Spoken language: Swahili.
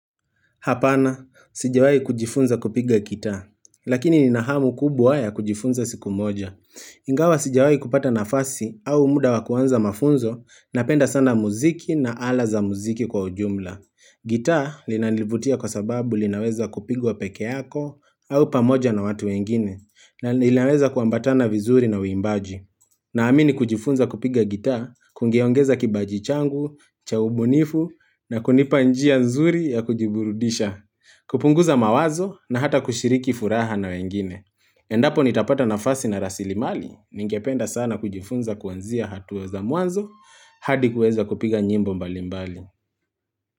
Hapana, sijawai kujifunza kupiga gitaa, lakini nina hamu kubwa ya kujifunza siku moja. Ingawa sijawai kupata nafasi au muda wa kuanza mafunzo napenda sana muziki na ala za muziki kwa ujumla. Gitaa linanivutia kwa sababu linaweza kupigwa peke yako au pamoja na watu wengine na linaweza kuambatana vizuri na uimbaji. Na amini kujifunza kupiga gitaa, kungeongeza kibaji changu, cha ubunifu na kunipa njia nzuri ya kujiburudisha. Kupunguza mawazo na hata kushiriki furaha na wengine. Endapo nitapata nafasi na rasilimali, ningependa sana kujifunza kuanzia hatua za mwanzo, hadi kueza kupiga nyimbo mbalimbali.